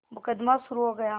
मुकदमा शुरु हो गया